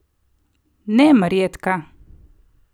Ne Marjetka!